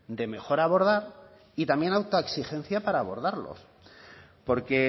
de mejor abordar y también autoexigencia para abordarlo porque